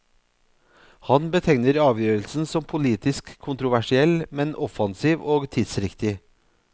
Han betegner avgjørelsen som politisk kontroversiell, men offensiv og tidsriktig.